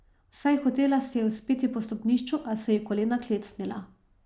Vsaj hotela se je vzpeti po stopnišču, a so ji kolena klecnila.